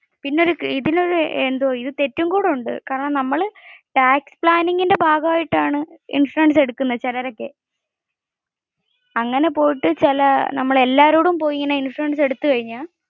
പിന്നെ ഇതിൽ ഒരു തെറ്റും കൂടി ഉണ്ട്. നമ്മൾ ഈ tax planning ഭാഗം ആയിട്ടാണ് ഈ ഇൻഷുറൻസ് എടുകുനെ, ചിലരൊക്കെ. അങ്ങനെ പോയിട്ട് എല്ലാരും പോയി ഇൻഷുറൻസ് എടുത്ത് കഴിഞ്ഞാൽ